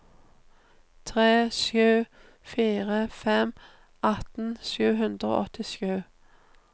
tre sju fire fem atten sju hundre og åttisju